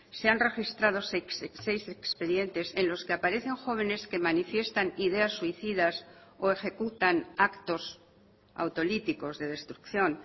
se han registrado seis expedientes en los que aparecen jóvenes que manifiestan ideas suicidas o ejecutan actos autolíticos de destrucción